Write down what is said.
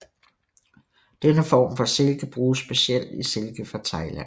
Denne form for silke bruges specielt i silke fra Thailand